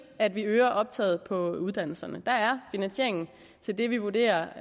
at vi øger optaget på uddannelserne der er finansiering til det vi vurderer